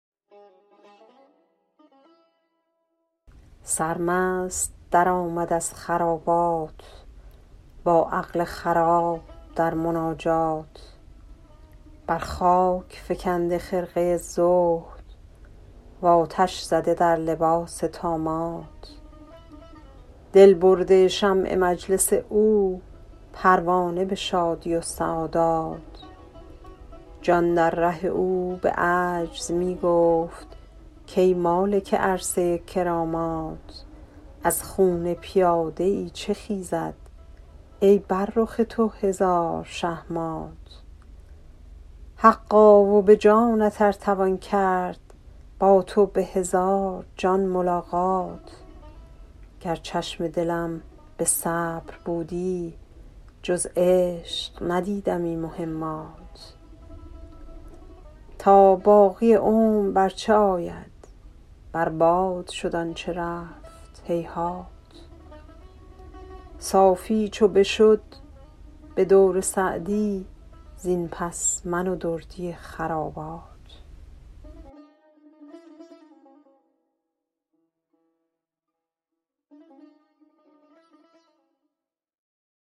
سرمست درآمد از خرابات با عقل خراب در مناجات بر خاک فکنده خرقه زهد و آتش زده در لباس طامات دل برده شمع مجلس او پروانه به شادی و سعادات جان در ره او به عجز می گفت کای مالک عرصه کرامات از خون پیاده ای چه خیزد ای بر رخ تو هزار شه مات حقا و به جانت ار توان کرد با تو به هزار جان ملاقات گر چشم دلم به صبر بودی جز عشق ندیدمی مهمات تا باقی عمر بر چه آید بر باد شد آن چه رفت هیهات صافی چو بشد به دور سعدی زین پس من و دردی خرابات